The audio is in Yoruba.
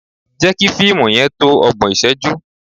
Jẹ́ kí fíìmù yẹn tó ọgbọ̀n ìṣẹ́jú!